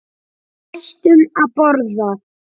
Við hættum að borða.